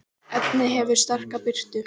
efnið hefur sterka birtu